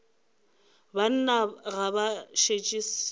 banna ga ba šetše seo